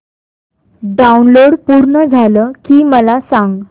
download पूर्ण झालं की मला सांग